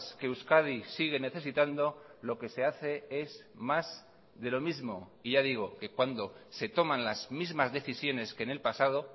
que euskadi sigue necesitando lo que se hace es más de lo mismo y ya digo que cuando se toman las mismas decisiones que en el pasado